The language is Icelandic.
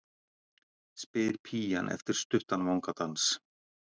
spyr pían eftir stuttan vangadans.